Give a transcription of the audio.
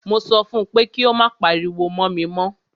Mo sọ fún pé kí o má pariwo mọ́ mi mọ́!